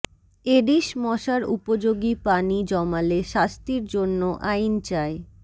Aedes মশার উপযোগী পানি জমালে শাস্তির জন্য আইন চাই